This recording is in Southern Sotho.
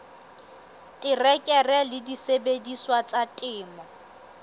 terekere le disebediswa tsa temo